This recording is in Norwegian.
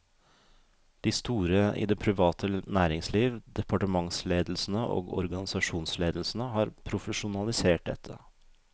De store i det private næringsliv, departementsledelsene og organisasjonsledelsene har profesjonalisert dette.